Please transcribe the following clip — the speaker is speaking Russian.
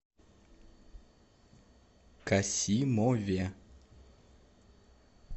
касимове